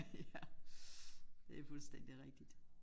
Ja det er fuldstændig rigtigt